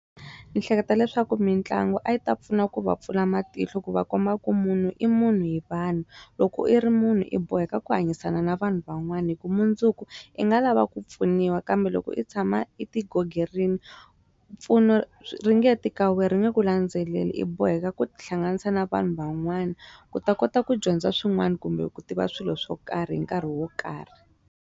Ndzi hleketa leswaku mitlangu a yi ta pfuna ku va pfula matihlo ku va kuma ku munhu i munhu hi vanhu loko i ri munhu i boheka ku hanyisana na vanhu van'wana hi ku mundzuku i nga lava ku pfuniwa kambe loko i tshama I ti ghogerini rile mpfuno ringeti ka wena ringe ku landzeleli i boheka ku tihlanganisa na vanhu van'wana ku ta kota ku dyondza swin'wana kumbe ku tiva swilo swo karhi hi nkarhi wo karhi.